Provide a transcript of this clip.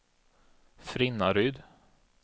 Frinnaryd